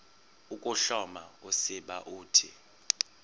ukuhloma usiba uthi